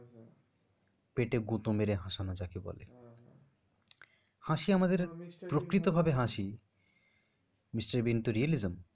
পেতে গুঁতো মেরে হাসানো যাকে বলে, হাসি আমাদের প্রকৃত ভাবে হাসি mister বীন তো realism